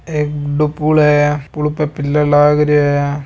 एक बड़ो पुल है पुल पे पिल्लर लाग रियो है।